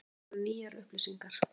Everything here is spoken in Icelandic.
Þetta voru nýjar upplýsingar.